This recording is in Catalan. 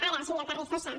ara senyor carrizosa